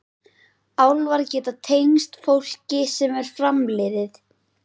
Álfar geta tengst fólki sem er framliðið.